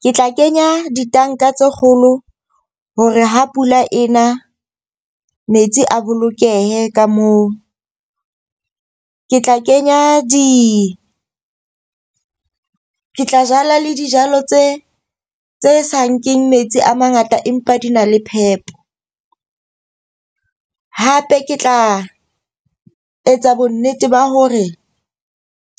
Ke tla kenya ditanka tse kgolo hore ha pula ena metsi a bolokehe ka moo. Ke tla kenya ke tla jala le dijalo tse sa nkeng metsi a mangata empa di na le phepo. Hape ke tla etsa bonnete ba hore